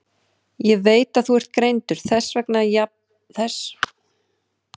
Ég veit að þú ert greindur, þess vegna játaði ég þegar þeir buðu mér þig.